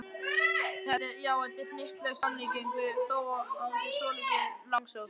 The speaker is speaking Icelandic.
Já, þetta er hnyttileg samlíking þó hún sé svolítið langsótt.